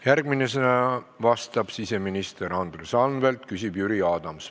Järgmisena vastab siseminister Andres Anvelt, küsib Jüri Adams.